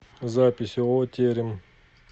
запись ооо терем